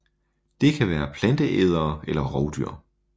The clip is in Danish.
Det kan være planteædere eller rovdyr